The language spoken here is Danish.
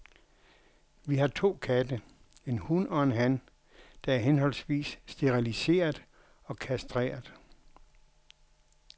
Vi har to katte, en hun og en han, der er henholdsvis steriliseret og kastreret.